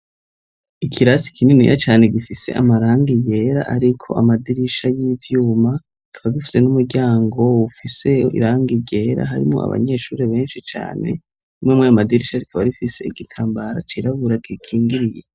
Ikirasi kininiya cane gifise amarangi yera ariko amadirisha y'ivyuma ,kikaba gifise n'umuryango ufise irangi ryera harimwo abanyeshure benshi cane ,imwe murayo madirisha rikaba rifise igitambara cirabura gikingiriye.